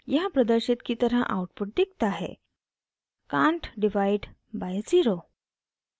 यहाँ प्रदर्शित की तरह आउटपुट दिखता है cant divide by zero!